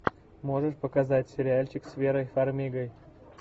можешь показать сериальчик с верой фармигой